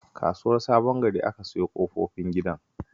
A Kasuwar Sabon Gari aka siyo ƙofifin gidan